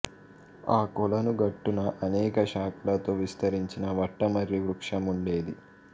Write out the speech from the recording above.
ఆ కొలను గట్టున అనేక శాఖలతో విస్తరించిన వట మర్రి వృక్షం ఉండేది